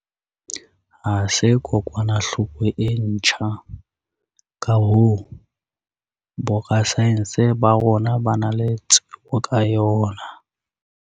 ha se kokwanahloko e ntjha, ka hoo, borasaense ba rona ba na le tsebo ka yona.